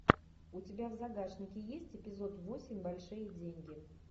у тебя в загашнике есть эпизод восемь большие деньги